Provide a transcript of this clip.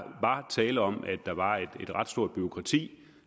tale om at der var et ret stort bureaukrati